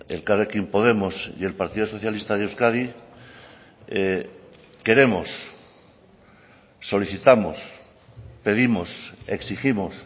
elkarrekin podemos y el partido socialista de euskadi queremos solicitamos pedimos exigimos